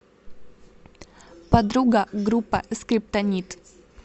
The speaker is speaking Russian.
подруга группа скриптонит